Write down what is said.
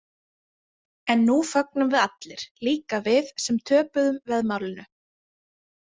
En nú fögnum við allir, líka við sem töpuðum veðmálinu.